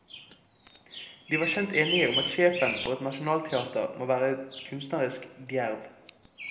De var skjønt enige om at sjefen for et nasjonalteater må være kunstnerisk djerv.